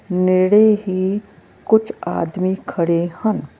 ਨੇੜੇ ਹੀ ਕੁਝ ਆਦਮੀ ਖੜੇ ਹਨ।